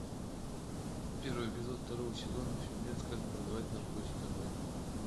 первый эпизод второго сезона фильмец как продавать наркотики онлайн